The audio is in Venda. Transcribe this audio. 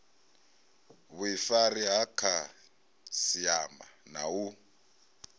vhuifari ha khasiama na u